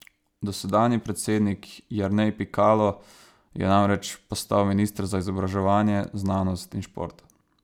Dosedanji predsednik Jernej Pikalo je namreč postal minister za izobraževanje, znanost in šport.